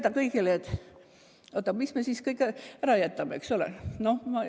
Ja siis öelda, mida kõike me siis ära jätame, eks ole!